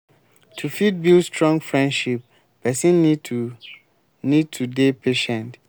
to fit build strong friendship person need to need to dey patient